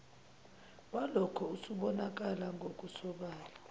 walokho usubonakala ngokusobala